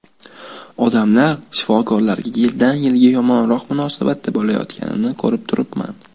Odamlar shifokorlarga yildan yilga yomonroq munosabatda bo‘layotganini ko‘rib turibman.